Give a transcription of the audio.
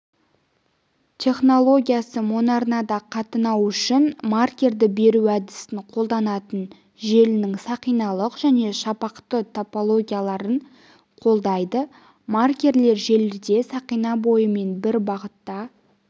технологиясы моноарнада қатынау үшін маркерді беру әдісін қолданатын желінің сақиналық және шапақты топологияларын қолдайды маркерлер желіде сақина бойымен бір бағытта